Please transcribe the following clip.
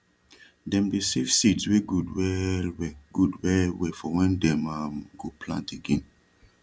dem dey save seeds wey gud welwel gud welwel for wen dey um go plant again